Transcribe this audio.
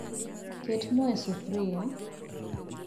Ket moo e sufria